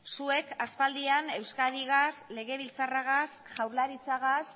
zuek aspaldian euskadigaz legebiltzarragaz jaurlaritzagaz